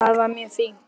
Það var mjög fínt.